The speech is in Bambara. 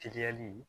Teliyali